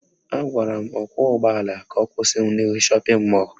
Agwara m ọkwọụgbọala ka ọ kwụsị m n'ihu shọpịn mọlụ